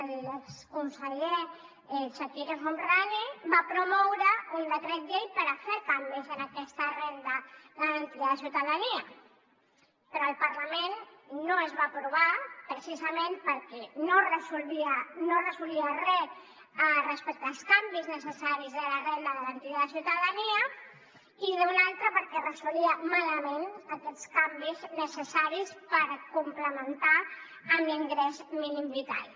l’exconseller chakir el homrani va promoure un decret llei per fer canvis en aquesta renda garantida de ciutadania però al parlament no es va aprovar precisament perquè no resolia res respecte als canvis necessaris a la renda garantida de ciutadania i d’una altra banda perquè resolia malament aquests canvis necessaris per complementar l’ingrés mínim vital